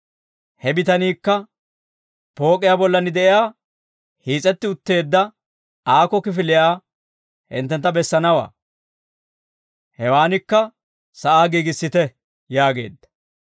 He bitaniikka pook'iyaa bollan de'iyaa hiis'etti utteedda aako kifiliyaa hinttentta bessanawaa; hewaanikka sa'aa giigissite» yaageedda.